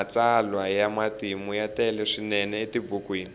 matsalwa ya matimu ya tele swinene etibukwini